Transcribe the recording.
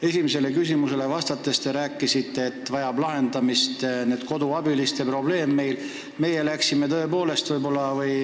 Esimesele küsimusele vastates te ütlesite, et koduabiliste probleem vajab lahendamist.